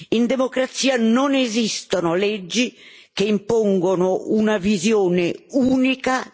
In democrazia non esistono leggi che impongono una visione unica della storia nazionale.